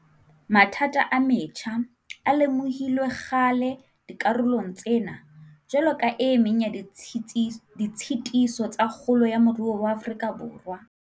Mathata a metjha a lemohilwe kgale dikarolong tsena jwalo ka e meng ya ditshitiso tsa kgolo ya moruo wa Afrika Borwa.